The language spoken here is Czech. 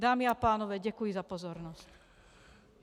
Dámy a pánové, děkuji za pozornost.